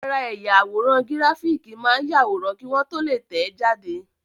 Ara ẹ̀yà àwòrán gíráfìkì máa ń yàwòrán kí wọ́n tó lè tẹ̀ẹ́ jáde